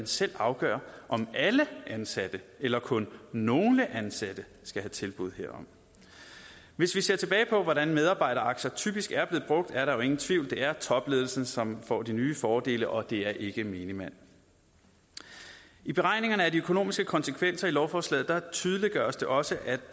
selv kan afgøre om alle ansatte eller kun nogle ansatte skal have tilbud herom hvis vi ser tilbage på hvordan medarbejderaktier typisk er blevet brugt er der jo ingen tvivl det er topledelsen som får de nye fordele og det er ikke menigmand i beregningerne af de økonomiske konsekvenser i lovforslaget tydeliggøres det også at